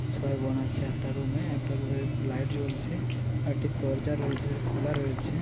ছয় বোন আছে একটা রুম এ একটা রুম এর লাইট জ্বলছেআর একটি দরজা রয়েছে খোলা রয়েছে ।